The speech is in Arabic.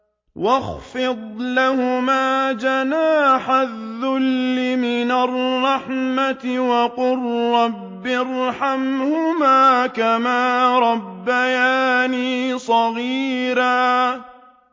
وَاخْفِضْ لَهُمَا جَنَاحَ الذُّلِّ مِنَ الرَّحْمَةِ وَقُل رَّبِّ ارْحَمْهُمَا كَمَا رَبَّيَانِي صَغِيرًا